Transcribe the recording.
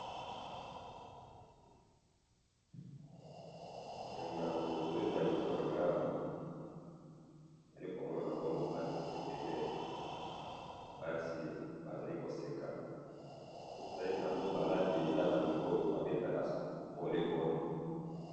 Na photo eza liboso na ngai awa nazali komona bongo ba ndeko ebele ya basi bazali koseka soki totali bilamba oyo balati eza ba ndeko oyo babetaka volleyball